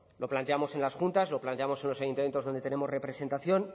lo planteamos en las juntas lo planteamos en los ayuntamientos donde tenemos representación